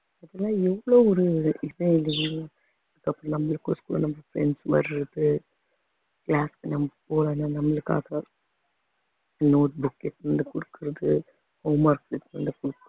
இதெல்லாம் எவ்வளவு ஒரு friends வர்றது class நம்ம போறாங்க நம்மளுக்காக note book எடுத்துன்னு வந்து குடுக்கறது homework